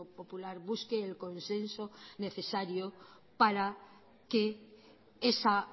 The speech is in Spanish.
popular busque el consenso necesario para que esa